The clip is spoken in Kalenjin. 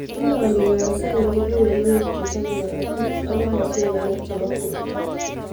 Inomi kansa en keberberwek chechobe korotik ak komoswek alak chebo borto